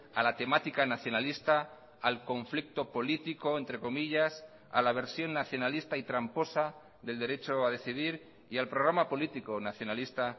a la temática nacionalista al conflicto político entre comillas a la versión nacionalista y tramposa del derecho a decidir y al programa político nacionalista